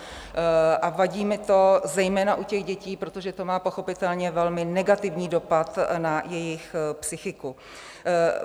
A vadí mi to zejména u těch dětí, protože to má pochopitelně velmi negativní dopad na jejich psychiku.